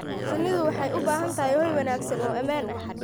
Shinnidu waxay u baahan tahay hoy wanaagsan oo ammaan ah.